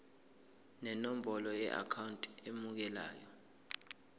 nenombolo yeakhawunti emukelayo